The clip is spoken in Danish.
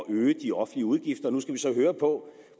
øge de offentlige udgifter nu skal vi så høre på